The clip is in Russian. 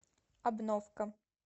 обновка